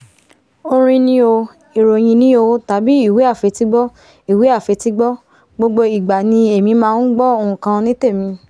orin ni o ìròhìn ní o tàbí ìwé àfetígbọ́ ìwé àfetígbọ́ gbogbo ìgbà ni èmi máa ngbọ́ nkan ní tèmi